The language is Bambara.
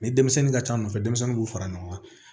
Ni denmisɛnnin ka ca nɔfɛ denmisɛnninw b'u fara ɲɔgɔn kan